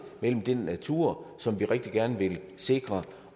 mellem den natur som vi rigtig gerne vil sikre